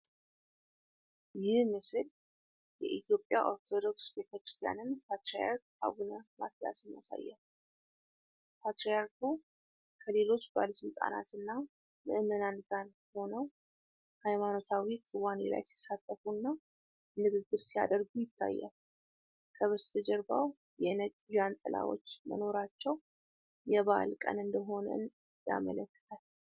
ይህ ምስል የኢትዮጵያ ኦርቶዶክስ ቤተክርስቲያንን ፓትርያርክ አቡነ ማትያስን ያሳያል። ፓትርያርኩ ከሌሎች ባለስልጣናት እና ምዕመናን ጋር ሆነው፣ ሃይማኖታዊ ክዋኔ ላይ ሲሳተፉና ንግግር ሲያደርጉ ይታያል። ከበስተጀርባው የነጭ ዣንጥላዎች መኖራቸው የበዓል ቀን እንደሆነ ያመለክታል።